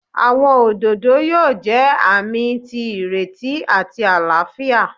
Awọn ododo yoo jẹ aami ti ireti ati alaafia.